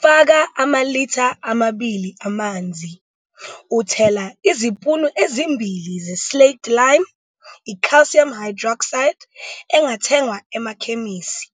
Faka amalitha amabili amanzi, uthela izipunu ezimbili ze-slaked lime, i-calcium hydroxide, engathengwa emakhemisi,